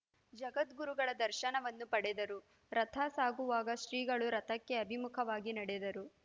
ಜಗದ್ಗುರುಗಳ ದರ್ಶನವನ್ನು ಪಡೆದರು ರಥ ಸಾಗುವಾಗ ಶ್ರೀಗಳು ರಥಕ್ಕೆ ಅಭಿಮುಖವಾಗಿ ನಡೆದರು